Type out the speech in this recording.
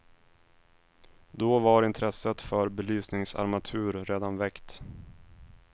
Då var intresset för belysningsarmatur redan väckt.